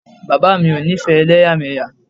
Bàbá o ńifẹ́ elẹ́yàmẹ́yà.